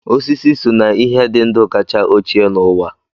Osisi so na ihe di ndu kacha ochie n'uwa